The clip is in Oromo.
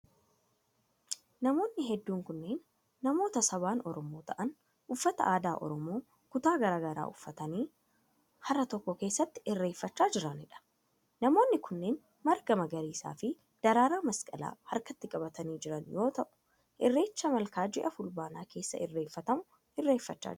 Namoonni hedduun kunneen, namoota sabaan Oromoo ta'an, uffata adaa Oromoo kutaa garaa garaa uffatanii hara tokko keessatti irreeffachaa jiranii dha. Namoonni kunneen, marga magariisa fi daraaraa masqalaa harkatti qabatanii jiran yoo ta'u, irreecha malkaa ji'a fulbaanaa keessa irreeffatamu irreeffachaa jiru.